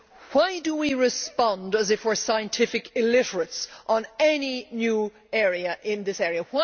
Why do we respond as if we are scientific illiterates on any new aspect of this area?